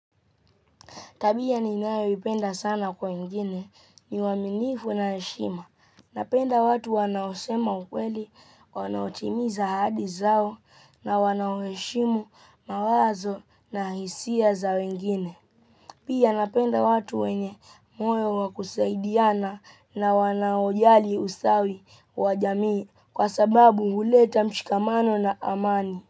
Tabia ninayoipenda sana kwa wengine ni uaminifu na heshima. Napenda watu wanaosema ukweli, wanaotimiza ahadi zao na wanaoheshimu mawazo na hisia za wengine. Pia napenda watu wenye moyo wa kusaidiana na wanaojali usawi wa jamii kwa sababu huleta mshikamano na amani.